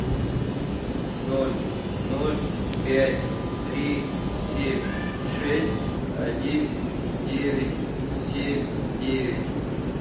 ноль ноль пять три семь шесть один девять семь девять